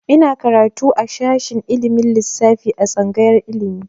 Ina karatu a shashin ilimin lissafi a tsangayar ilimi.